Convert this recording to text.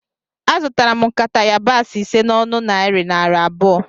Azụtara m nkata yabasị ise a n'ọnụ narị naira abụọ